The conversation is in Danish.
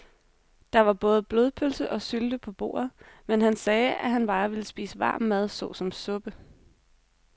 Der var både blodpølse og sylte på bordet, men han sagde, at han bare ville spise varm mad såsom suppe.